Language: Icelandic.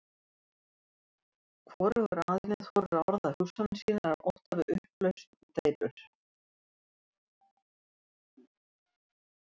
Hvorugur aðilinn þorir að orða hugsanir sínar af ótta við upplausn og deilur.